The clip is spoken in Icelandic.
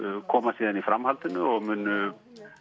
koma síðan í framhaldinu og munu